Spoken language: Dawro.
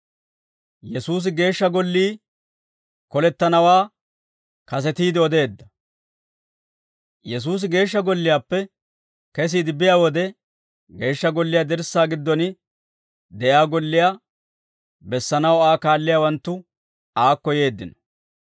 Yesuusi Geeshsha Golliyaappe kesiide biyaa wode, Geeshsha Golliyaa dirssaa giddon de'iyaa golliyaa bessanaw Aa kaalliyaawanttu aakko yeeddino.